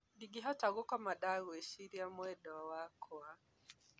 dingĩhota gũkoma dagwĩcĩrĩa mwendwa wakwa.